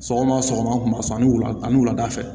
Sɔgɔma sɔgɔma san ni wula an ni wulada fɛ